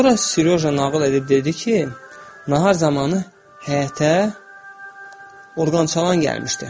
Sonra Seryoja nağıl edib dedi ki, nahar zamanı həyətə orqançalan gəlmişdi.